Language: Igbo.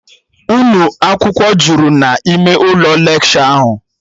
Unu akwụkwọ jụrụ n'ime ụlọ lekshọ ahụ